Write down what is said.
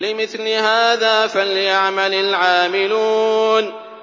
لِمِثْلِ هَٰذَا فَلْيَعْمَلِ الْعَامِلُونَ